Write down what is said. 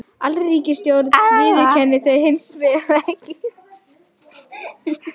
Alríkisstjórnin viðurkennir þau hins vegar ekki